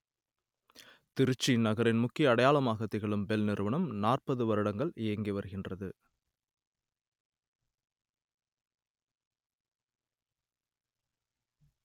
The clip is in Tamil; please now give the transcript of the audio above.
திருச்சி நகரின் முக்கிய அடையாளமாக திகழும் பெல் நிறுவனம் நாற்பது வருடங்கள் இயங்கி வருகின்றது